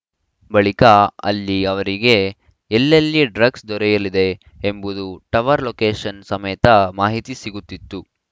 ಬಳಿಕ ಅಲ್ಲಿ ಅವರಿಗೆ ಎಲ್ಲೆಲ್ಲಿ ಡ್ರಗ್ಸ್‌ ದೊರೆಯಲಿದೆ ಎಂಬುದು ಟವರ್‌ ಲೋಕೇಷನ್‌ ಸಮೇತ ಮಾಹಿತಿ ಸಿಗುತ್ತಿತ್ತು